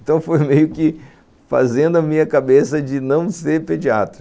Então foi meio que fazendo a minha cabeça de não ser pediatra.